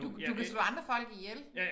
Du du kan slå andre folk ihjel